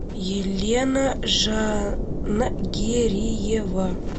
елена жангериева